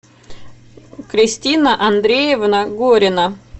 кристина андреевна горина